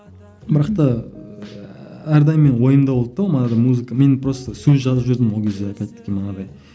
бірақ та ыыы әрдайым менің ойымда болды да ол манағыдай музыка мен просто сөз жазып жүрдім ол кезде опять манағыдай